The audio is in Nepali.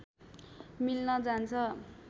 मिल्न जान्छ